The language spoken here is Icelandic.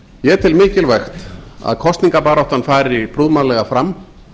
ég tel mikilvægt að kosningabaráttan fari prúðmannlega fram